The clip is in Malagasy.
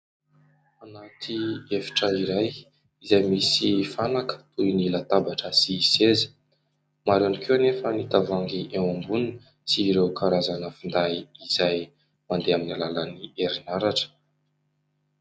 Anaty efitra iray izay misy fanaka toy ny latabatra sy seza. Maro ihany koa anefa ny tavoahangy eo amboniny sy ireo karazana finday izay mandeha amin'ny alalan'ny herinaratra.